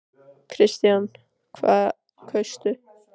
Kristján: Hvað kaustu?